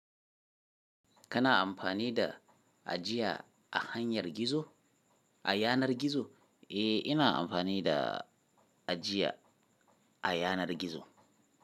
Kana amfani da ajiya a hanyar gizo? A yanar gizo? Eh ina amfani da ajiya a yanar gizo.